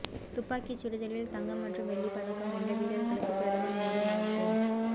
துப்பாக்கி சுடுதலில் தங்கம் மற்றும் வெள்ளி பதக்கம் வென்ற வீரர்களுக்கு பிரதமர் மோடி வாழ்த்து